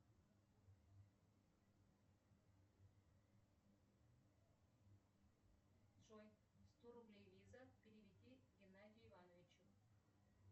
джой сто рублей виза переведи геннадию ивановичу